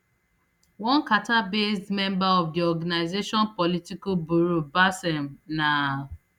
one qatarbased member of di organisation political bureau basem na